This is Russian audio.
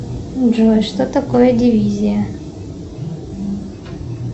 джой что такое дивизия